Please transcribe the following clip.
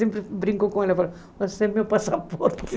Sempre brinco com ela, falo, você é meu passaporte.